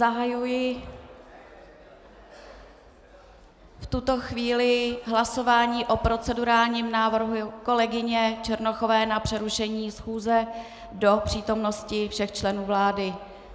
Zahajuji v tuto chvíli hlasování o procedurálním návrhu kolegyně Černochové na přerušení schůze do přítomnosti všech členů vlády.